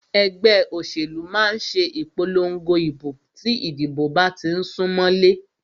Ẹgbẹ́ òṣèlú máà ṣe ìpòlongo ìbò tí ìdìbò bá tí ń sún mọlé.